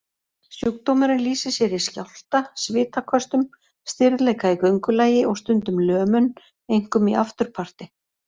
Sjúkdómurinn lýsir sér í skjálfta, svitaköstum, stirðleika í göngulagi og stundum lömun, einkum í afturparti.